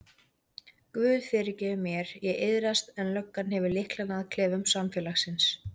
Guð fyrirgefur mér, ég iðrast en löggan hefur lyklana að klefum samfélagsins.